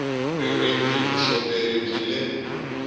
ririmi hi vuxoperi byi le